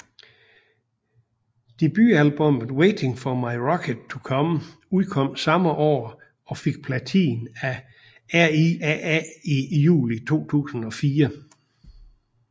Debutalbummet Waiting for My Rocket to Come udkom samme år og fik platin af RIAA i juli 2004